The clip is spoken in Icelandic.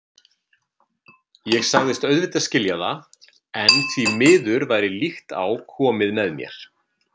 Ég sagðist auðvitað skilja það, en því miður væri líkt á komið með mér.